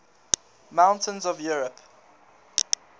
mountains of europe